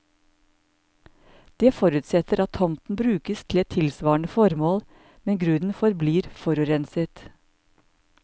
Det forutsetter at tomten brukes til et tilsvarende formål, men grunnen forblir forurenset.